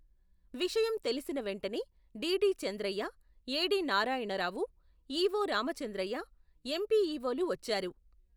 విషయం తెలిసిన వేంటనే, DD Chandraiah, AD. Narayanarao, EO. Ramachandraiah, ఎం.పీ.ఈ.వో.లు వచ్చారు.